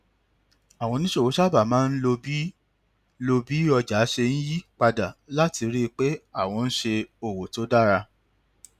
àwọn oníṣòwò sábà máa ń lo bí lo bí ọjà ṣe ń yí padà láti rí i pé àwọn ń ṣe òwò tó dára